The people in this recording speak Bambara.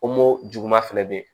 juguman fɛnɛ be yen